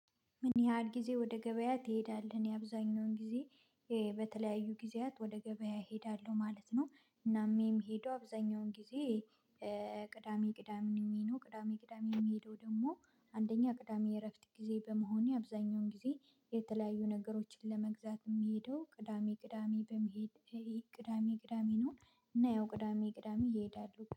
ምን ያህል ጊዜ ወደ ገበያ ትሄዳለህ? የአብዛኛውን ጊዜ በተለያዩ ጊዜያት ወደ ገበያ እሄዳለሁ ማለት ነው። እናም የምሄደው አብዛኛውን ጊዜ ቅዳሜ ቅዳሜ ምንም የሚሄደው ቅዳሜ ቅዳሜ የምሄደው ደግሞ አንደኛ ቅዳሜ እረፍት ጊዜ በመሆኔ አብዛኛውን ጊዜ የተለያዩ ነገሮችን ለመግዛት የሚሄደው ቅዳሜ ቅዳሜ በመሄድ ቅዳሜ ቅዳሜ ነው። እና ያው ቅዳሜ ቅዳሜ ይሄዳሉ